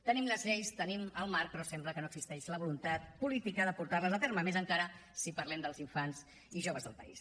tenim les lleis tenim el marc però sembla que no existeix la voluntat política de portar les a terme encara més si parlem dels infants i joves del país